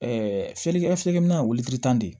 selikɛlikɛminɛnw welelikan de